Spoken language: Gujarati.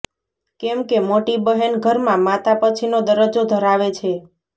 કેમ કે મોટી બહેન ઘરમાં માતા પછીનો દરજ્જો ધરાવે છે